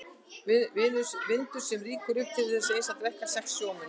Vindur sem rýkur upp til þess eins að drekkja sex sjómönnum.